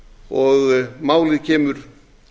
og málið kemur